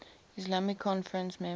islamic conference members